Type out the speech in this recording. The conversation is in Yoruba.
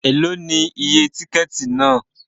Èló ni iye tíkẹ́ẹ̀tì náà?